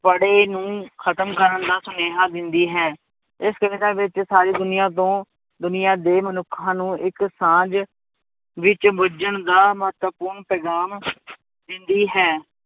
ਪਾੜੇ ਨੂੰ ਖਤਮ ਕਰਨ ਦਾ ਸੁਨੇਹਾਂ ਦਿੰਦੀ ਹੈ, ਇਸ ਕਵਿਤਾ ਵਿੱਚ ਸਾਰੀ ਦੁਨੀਆਂ ਤੋਂ ਦੁਨੀਆਂ ਦੇ ਮਨੁੱਖਾਂ ਨੂੰ ਇੱਕ ਸਾਂਝ ਵਿੱਚ ਬੁੱਝਣ ਦਾ ਮਹੱਤਵਪੂਰਨ ਪੈਗਾਮ ਦਿੰਦੀ ਹੈ,